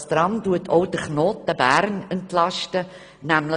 Dieses Tram entlastet auch den Knoten Bern.